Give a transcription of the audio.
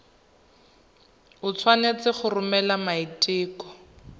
o tshwanetse go romela maiteko